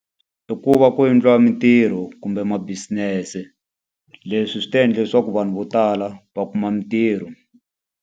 I ku va ku endliwa mintirho kumbe ma-business-e. Leswi swi ta endla leswaku vanhu vo tala va kuma mintirho.